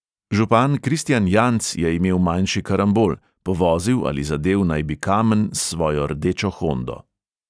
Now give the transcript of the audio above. Župan kristijan janc je imel manjši karambol, povozil ali zadel naj bi kamen s svojo rdečo hondo.